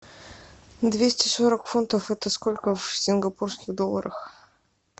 двести сорок фунтов это сколько в сингапурских долларах